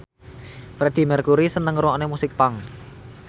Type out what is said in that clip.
Freedie Mercury seneng ngrungokne musik punk